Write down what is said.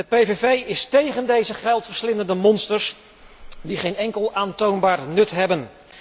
De PVV is tegen deze geldverslindende monsters die geen enkel aantoonbaar nut hebben.